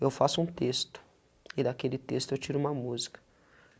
Eu faço um texto, e daquele texto eu tiro uma música.